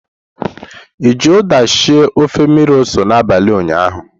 I ji uda sie ofe mmiri ose n'abalị ụnyaahụ?